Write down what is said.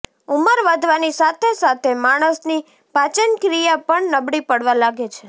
ઉંમર વધવાની સાથે સાથે માણસની પાચનક્રિયા પણ નબળી પડવા લાગે છે